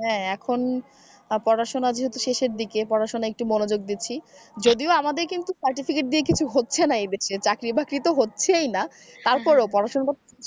হ্যাঁ এখন পড়াশোনা যেহেতু শেষের দিকে পড়াশোনায় একটু মনোযোগ দিচ্ছি যদিও আমাদের কিন্তু certificate দিয়ে কিছু হচ্ছে না এদেশে চাকরি বাকরি তো হচ্ছেই না তার পরেও পড়াশোনা